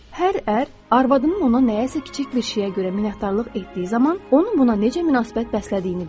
Hər ər arvadının ona nəyəsə kiçik bir şeyə görə minnətdarlıq etdiyi zaman onun buna necə münasibət bəslədiyini bilir.